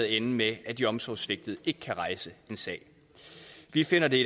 ende med at de omsorgssvigtede ikke kan rejse en sag vi finder det